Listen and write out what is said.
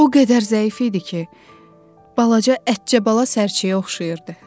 O qədər zəif idi ki, balaca ətcəbala sərçəyə oxşayırdı.